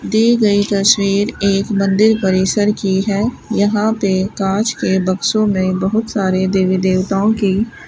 दी गयी तस्वीर एक मंदिर परिसर की है यहां पे कांच के बॉक्सों मे बहुत सारे देवी देवताओं की--